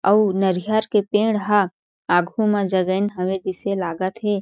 अउ नारिहर के पेड़ ह आघू मा जगईन हावे जईसे लागत हे।